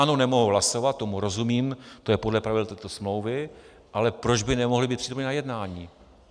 Ano, nemohou hlasovat, tomu rozumím, to je podle pravidel této smlouvy, ale proč by nemohly být přítomny na jednání?